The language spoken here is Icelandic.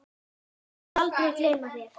Ég mun aldrei gleyma þér.